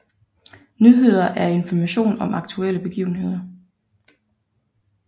Nyheder er information om aktuelle begivenheder